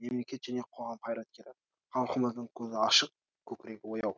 мемлекет және қоғам қайраткері халқымыздың көзі ашық көкірегі ояу